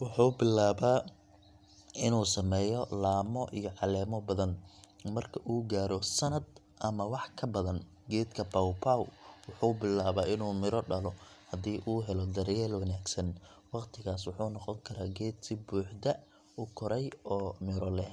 wuxuu bilaabaa inuu sameeyo laamo iyo caleemo badan. Marka uu gaaro sanad ama wax ka badan, geedka pawpaw wuxuu bilaabaa inuu midho dhalo, haddii uu helo daryeel wanaagsan. Waqtigaas wuxuu noqon karaa geed si buuxda u koray oo miro leh.